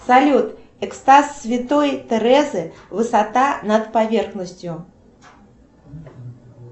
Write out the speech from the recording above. салют экстаз святой терезы высота над поверхностью